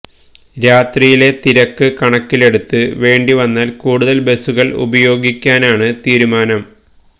രാത്രിയിലെ തിരക്ക് കണക്കിലെടുത്ത് വേണ്ടി വന്നാല് കൂടുതല് ബസുകള് ഉപയോഗിക്കാനാണ് തീരുമാനം